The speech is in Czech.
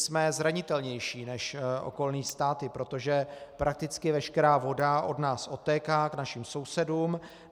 Jsme zranitelnější než okolní státy, protože prakticky veškerá voda od nás odtéká k našim sousedům.